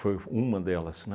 f uma delas, né?